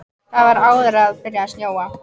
Það var áður en byrjaði að snjóa.